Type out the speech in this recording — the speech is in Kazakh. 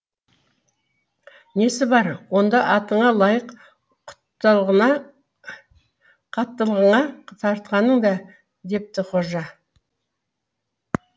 несі бар онда атыңа лайық қаттылығыңа тартқаның да депті қожа